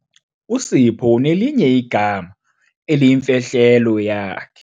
USipho unelinye igama eliyimfihlelo yakhe.